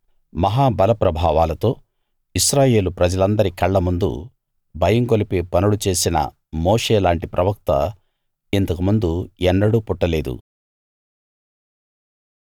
మహా బల ప్రభావాలతో ఇశ్రాయేలు ప్రజలందరి కళ్ళ ముందు భయం గొలిపే పనులు చేసిన మోషే లాంటి ప్రవక్త ఇంతకుముందు ఎన్నడూ పుట్టలేదు